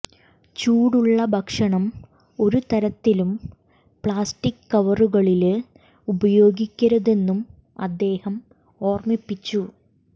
ചൂടുള്ള ഭക്ഷണം ഒരു തരത്തിലും പ്ലാസ്റ്റിക് കവറുകളില് ഉപയോഗിക്കരുതെന്നും അദ്ദേഹം ഓര്മിപ്പിച്ചു